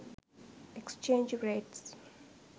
exchange rates